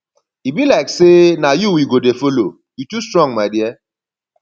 e be like say na you we go dey follow you too strong my dear